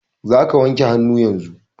Za ka wanke hannu yanzun!